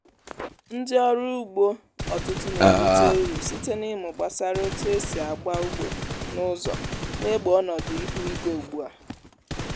ndị ọrụ ugbo ọtụtụ na-erite uru site n’ịmụ gbasara otu esi agba ugbo n’ụzọ na-egbo ọnọdụ ihu igwe ugbu a.